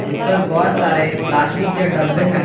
इस पर बहोत सारे प्लास्टिक के डब्बे हैं।